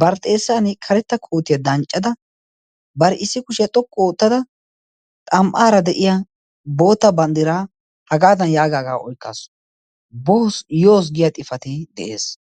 bar xeesan karetta kootiyaa danccada, bar issi kushiyaa xokku oottada xam77aara de7iya boota banddiraa hagaadan yaagaagaa oikkaasu. bo yoos giya xifati de7ees.